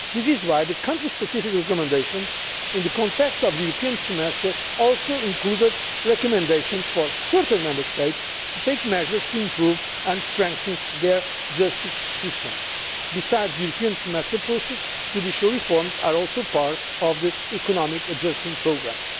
This is why the country specific recommendations in the context of the European Semester also included recommendations for certain Member States to take measures to improve and strengthen their justice systems. Besides the European Semester process, judicial reforms are also part of the economic adjustment programmes.